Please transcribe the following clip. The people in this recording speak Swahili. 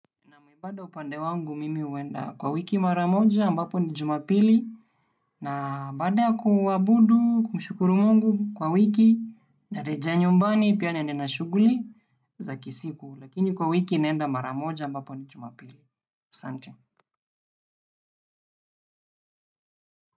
Naam, ibada upande wangu mimi huenda kwa wiki mara moja ambapo ni Jumapili. Na baada ya kuabudu, kumshukuru Mungu kwa wiki, narejea nyumbani, pia niende na shughuli za kisiku. Lakini kwa wiki nenda mara moja ambapo ni Jumapili. Asante.